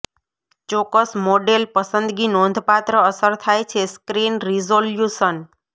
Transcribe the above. ચોક્કસ મોડેલ પસંદગી નોંધપાત્ર અસર થાય છે સ્ક્રીન રીઝોલ્યુશન